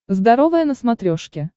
здоровое на смотрешке